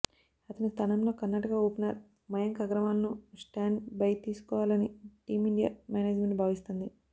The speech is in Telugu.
అతని స్థానంలో కర్ణాటక ఓపెనర్ మయాంక్ అగర్వాల్ను స్టాండ్ బై తీసుకోవాలని టీమిండియా మేనేజ్మెంట్ భావిస్తోంది